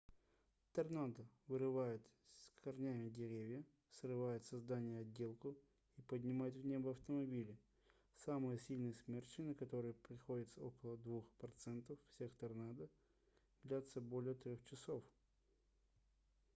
торнадо вырывают с корнями деревья срывают со зданий отделку и поднимают в небо автомобили самые сильные смерчи на которые приходится около 2 процентов всех торнадо длятся более трех часов